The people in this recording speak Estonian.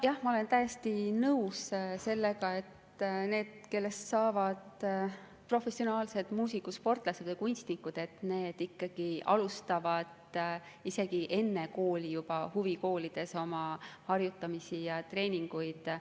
Jah, ma olen täiesti nõus, et need, kellest saavad professionaalsed muusikud, sportlased või kunstnikud, ikkagi alustavad isegi juba enne kooli huvikoolides oma harjutamisi ja treeninguid.